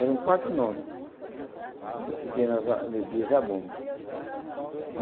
Eram quatro nomes de que tinha na ali de Zabumba.